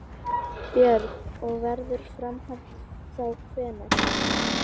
Björn: Og verður framhald þá hvenær?